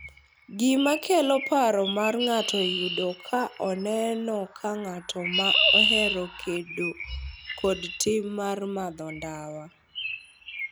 Gima kelo paro ma ng’ato yudo ka oneno ka ng’at ma ohero kedo kod tim mar madho ndawa,